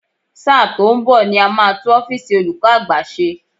Sáà tó ń bò ni a máa tú ọ́físì olúkọ́ àgbà ṣe.